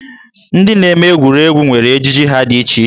Ndị na-eme egwuregwu nwere ejiji ha dị iche iche.